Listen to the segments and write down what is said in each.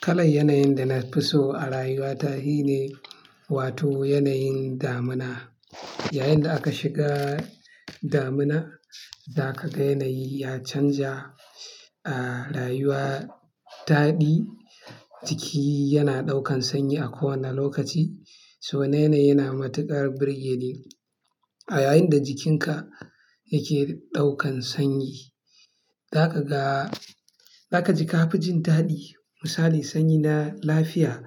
Kalan yanayin da na fi so a rayuwa ta shi ne, wato yanayin damina. Yayinda aka shiga damina, za ka ga yanayi ya canza, ah, rayuwa taɗi, jiki yana ɗaukan sanyi a kowane lokaci. So yanayi yana matuƙar burge ni. A yayinda jikinka yake ɗaukan sanyi, za ka ga-- za ka ji kaficin daɗi. Misali, sanyi na lafiya,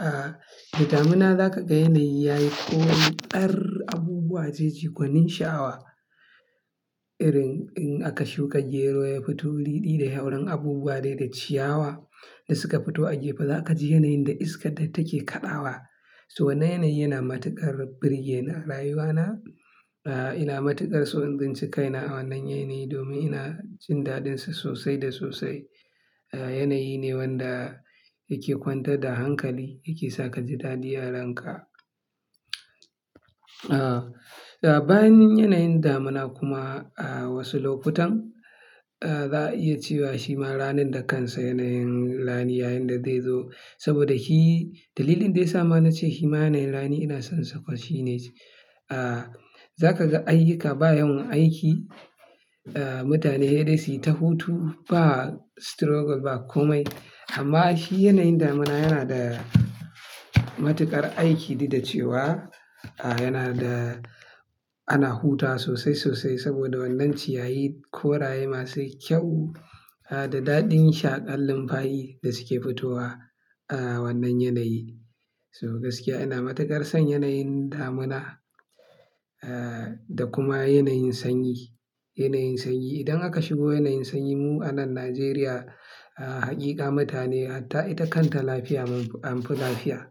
ah, da damina za ka ga yanayi yayi koyon ƙar abubuwa jeji, gwanin sha'awa. Irin in aka shuka gero ya fito riri da hauren abubuwa dai da ciyawa da suka fito a gefe, za ka ji yanayin da iska ta take kaɗawa. So wannan yanayi yana matuƙar burge ni a rayuwa na, ah, ina matuƙar son tsinci kaina a wannan yanayi domin ina jin daɗinsa sosai da sosai. Ah, yanayi ne wanda yake kwantar da hankali, yake saka ji daɗi yarenka. Ah, bayan yanayin damina kuma, ah, wasu lokutan, ah, za a iya cewa shi ma ranin da kansa yanayin rani yayinda zai zo. Saboda hi-- dalilin da ya sa ma na ce shi ma yanayin rani ina son sa ƙwar shine, ah, za ka ga a yika bayan aiki, ah, mutane dai su yi ta hutu ba struggle ba komai. Amma shi yanayin damina yana da matuƙar aiki, duk dace wa, ah, yana da ana huta sosai sosai saboda wannan ciyayi, koraye masu kyau, ah, da daɗin shaƙan lufafi da suke fitowa, ah, wannan yanayi. So gaskiya ina matuƙar son yanayin damina, ah, da kuma yanayin sanyi. Yanayin sanyi idan aka shigo yanayin sanyi mu a nan Najeriya, ah, hakika mutane har ta ita kanta lafiya an fi lafiya.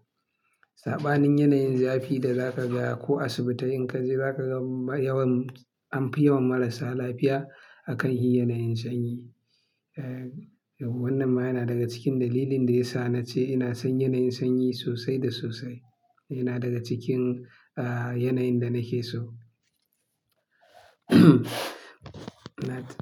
Saɓanin yanayin zafi da za ka ga ko asibitai in ka je za ka ga yawan an fi yawan marasa lafiya a kan shi yanayin sanyi. Eh, wannan ma yana daga cikin dalilin da ya sa na ce ina son yanayin sanyi sosai da sosai. Yana daga cikin, ah, yanayin da nake so.